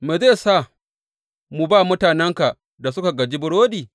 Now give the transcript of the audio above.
Me zai sa mu ba mutanenka da suka gaji burodi?’